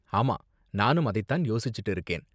ஆமா, நானும் அதை தான் யோசிச்சுட்டு இருக்கேன்.